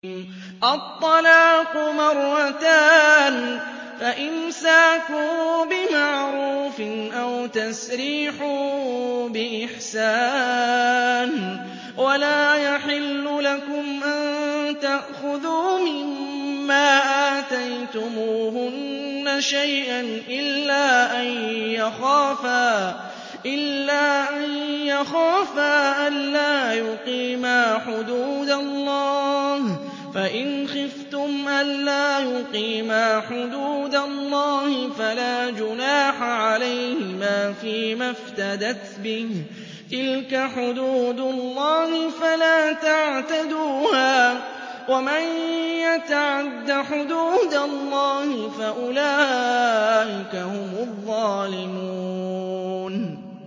الطَّلَاقُ مَرَّتَانِ ۖ فَإِمْسَاكٌ بِمَعْرُوفٍ أَوْ تَسْرِيحٌ بِإِحْسَانٍ ۗ وَلَا يَحِلُّ لَكُمْ أَن تَأْخُذُوا مِمَّا آتَيْتُمُوهُنَّ شَيْئًا إِلَّا أَن يَخَافَا أَلَّا يُقِيمَا حُدُودَ اللَّهِ ۖ فَإِنْ خِفْتُمْ أَلَّا يُقِيمَا حُدُودَ اللَّهِ فَلَا جُنَاحَ عَلَيْهِمَا فِيمَا افْتَدَتْ بِهِ ۗ تِلْكَ حُدُودُ اللَّهِ فَلَا تَعْتَدُوهَا ۚ وَمَن يَتَعَدَّ حُدُودَ اللَّهِ فَأُولَٰئِكَ هُمُ الظَّالِمُونَ